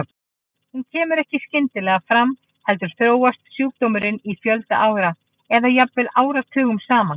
Hún kemur ekki skyndilega fram heldur þróast sjúkdómurinn í fjölda ára eða jafnvel áratugum saman.